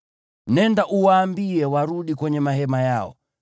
“Nenda uwaambie warudi kwenye mahema yao.